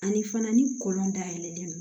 Ani fana ni kɔlɔn dayɛlɛlen don